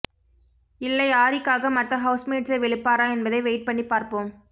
இல்லை ஆரிக்காக மத்த ஹவுஸ்மேட்ஸை வெளுப்பாரா என்பதை வெயிட் பண்ணிப் பார்ப்போம்